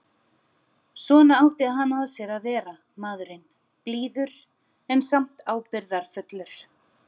Svona átti hann að sér að vera, maðurinn, blíður en samt ábyrgðarfullur.